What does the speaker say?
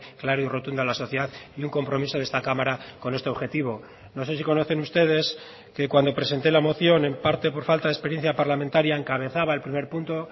claro y rotundo a la sociedad y un compromiso de esta cámara con este objetivo no sé si conocen ustedes que cuando presenté la moción en parte por falta de experiencia parlamentaria encabezaba el primer punto